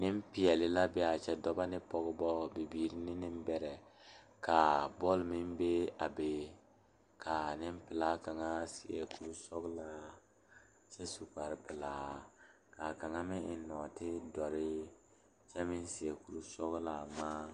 Nenpeɛle la be a kyɛ dɔɔba ane pɔgeba bayi la a laŋ zeŋ a dɔɔ kaŋ naŋ seɛ traza pelaa pegle la gane o nu poɔ ane magdalee a pɔge kaŋa meŋ zeŋ la koo niŋe soga ba saa kyɛ kaa dɔɔ kaŋa ane a pɔge nɔɔte doɔre kyɛ meŋ seɛ kuri sɔglaa ŋmaa.